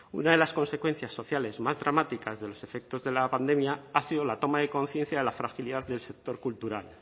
una de las consecuencias sociales más dramáticas de los efectos de la pandemia ha sido la toma de conciencia de la fragilidad del sector cultural